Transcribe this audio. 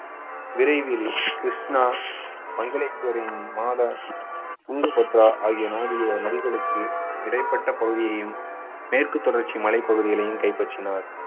விரைவில் கிருஷ்ணா துங்கபத்ரா ஆகிய நாடுக~ நதிகளுக்கு இடைப்பட்ட பகுதியையும் மேற்கு தொடர்ச்சி மலை பகுதிகளையும் கைப்பற்றினார்.